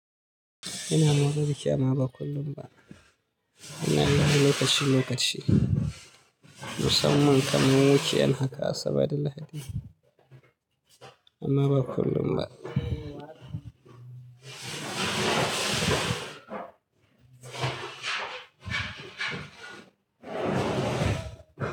Ina mafarki amma ba kullum ba. Ina yi lokaci lokaci, musamman kamar weekend haka Asabar da Lahadi. Amma ba kullum ba.